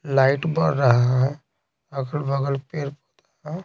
light बढ़ रहा है अगल-बगल पेड़--